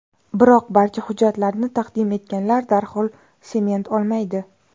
Biroq, barcha hujjatlarni taqdim etganlar darhol sement olmaydi.